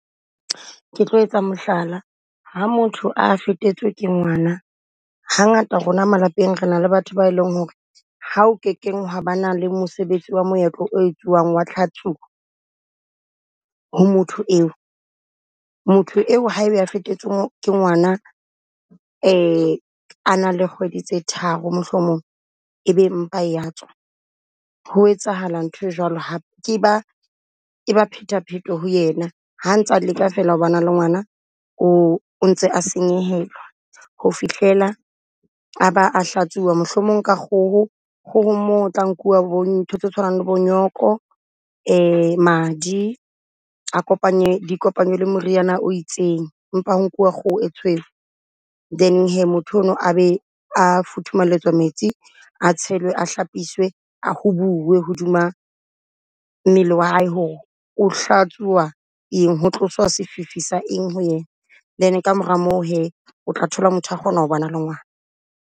Ke tlo etsa mohlala ha motho a fetetswe ke ngwana, ha ngata rona malapeng re na le batho ba e leng ho re. Ha o ke keng hwa ba na le mosebetsi wa moetlo o etsuwang wa tlhatsuo, ho motho eo. Motho eo ha ebe a fetetswe ke ngwana a na le kgwedi tse tharo mohlomong, ebe mpa e ya tswa. Ho etsahala nthwe jwalo hape, ke ba e ba phetapheto ho yena. Ha ntsa leka feela ho ba na le ngwana o ntse a senyehelwa ho fihlela aba a hlatsuwa, mohlomong ka kgoho. Kgohong moo o tla nkuwa bo di ntho tse tshwanang le bo nyoko madi, a kopanye di kopanywe le moriana o itseng, mpa ho nkuwa kgoho e tshweu. Then hee motho ono a be a futhumalletswa metsi a tshelwe a hlapiswe, a ho buuwe hodima mmele wa hae ho re o hlatsuwa eng. Ho tloswa sefifi sa eng ho yena? Then kamora moo hee o tla thola motho a kgona ho ba na le ngwana.